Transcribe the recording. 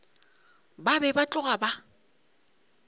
ba be ba tloga ba